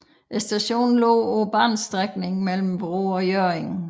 Stationen lå på banestrækningen mellem Vrå og Hjørring